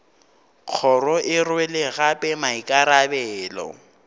kgoro e rwele gape maikarabelo